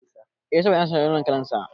Eh, saboda ina son launin kalan sa